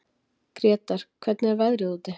Gretar, hvernig er veðrið úti?